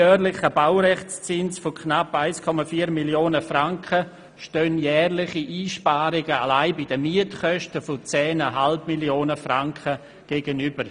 Dem jährlichen Baurechtszins von knapp 1,4 Mio. Franken stehen jährliche Einsparungen allein bei den Mietkosten von 10,5 Mio. Franken gegenüber.